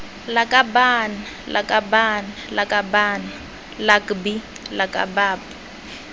lakabaaan lakabaaan lakaban lakbi lakab